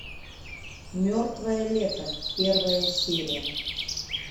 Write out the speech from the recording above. мертвое лето первая серия